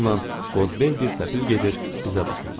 Yolla qozbel bir səfil gedir, bizə baxırdı.